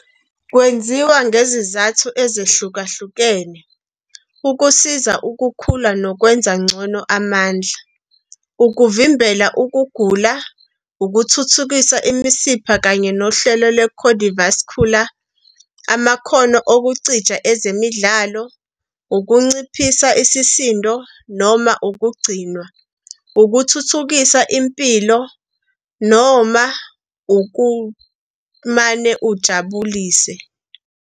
Kwenziwa ngezizathu ezahlukahlukene- ukusiza ukukhula nokwenza ngcono amandla, ukuvimbela ukuguga, ukuthuthukisa imisipha kanye nohlelo lwe-cardiovascular, amakhono okucija ezemidlalo, ukunciphisa isisindo noma ukugcinwa, ukuthuthukisa impilo, noma ukumane ujabulise.